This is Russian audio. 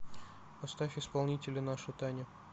поставь исполнителя наша таня